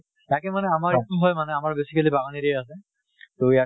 তাকে মানে আমাৰ এইটো হয় মানে আমাৰ basically বাগান area আছে. তʼ